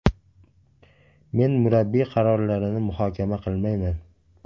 Men murabbiy qarorlarini muhokama qilmayman.